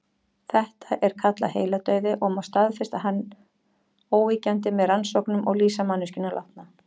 Þetta er kallað heiladauði og má staðfesta hann óyggjandi með rannsóknum og lýsa manneskjuna látna.